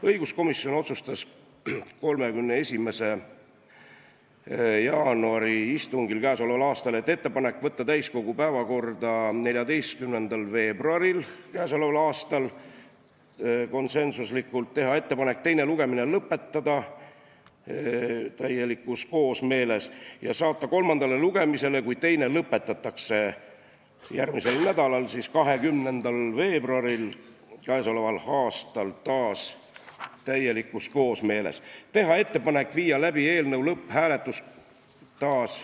Õiguskomisjon otsustas k.a 31. jaanuari istungil järgmist: ettepanek võtta eelnõu täiskogu päevakorda 14. veebruaril k.a , teha ettepanek teine lugemine lõpetada ja saata kolmandale lugemisele, kui teine lõpetatakse, järgmisel nädalal, 20. veebruaril k.a , teha ettepanek viia läbi eelnõu lõpphääletus .